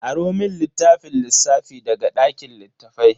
Aro mun littafin lissafi daga dakin littafai.